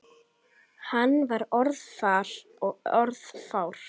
Hann var orðvar og orðfár.